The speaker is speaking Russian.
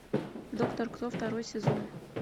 доктор кто второй сезон